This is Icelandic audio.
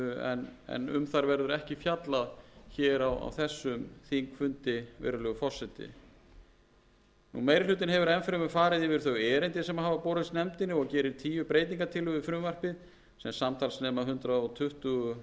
en um þær verður ekki fjallað hér á þessum þingfundi virðulegi forseti meiri hlutinn hefur enn fremur farið yfir þau erindi sem hafa borist nefndinni og gerir tíu breytingartillögum við frumvarpið sem samtals nema hundrað tuttugu milljónir króna rúmum til hækkunar og einstaka